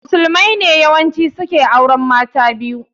Musulmai ne yawanci su ke auren mata biyu